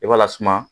I b'a lasuma